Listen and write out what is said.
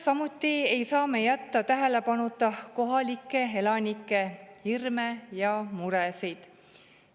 Samuti ei saa me jätta tähelepanuta kohalike elanike hirme ja muresid.